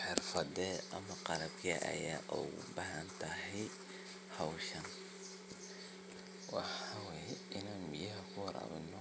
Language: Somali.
Xirfade ama qabke aya ugubahatahay howsha wxa wey in biyaha kuwarawino